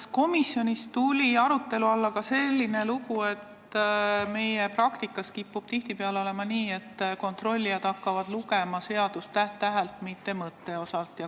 Kas komisjonis tuli arutusele ka see, et meie praktikas kipub tihtipeale olema nii, et kontrollijad hakkavad lugema seadust täht-tähelt, mitte mõtet silmas pidades?